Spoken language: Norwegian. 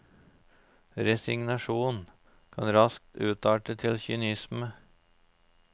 Resignasjon kan raskt utarte til kynisme.